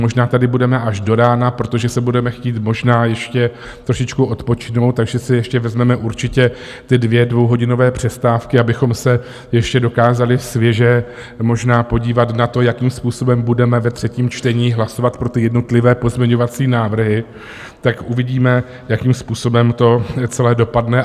Možná tady budeme až do rána, protože si budeme chtít možná ještě trošičku odpočinout, takže si ještě vezmeme určitě ty dvě dvouhodinové přestávky, abychom se ještě dokázali svěže možná podívat na to, jakým způsobem budeme ve třetím čtení hlasovat pro ty jednotlivé pozměňovací návrhy, tak uvidíme, jakým způsobem to celé dopadne.